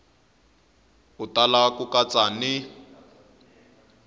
u tala ku katsa ni